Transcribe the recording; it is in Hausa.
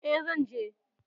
E, zan je.